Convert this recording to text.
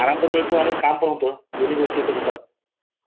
म्हणजे घरी आराम मिळतो आणि काम पण होत दोन्ही गोष्टी होतात